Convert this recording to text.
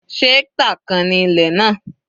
Se hectare kan ni ilẹ̀ náà?